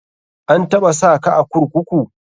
An taɓa saka a kurkuku?